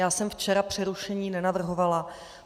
Já jsem včera přerušení nenavrhovala.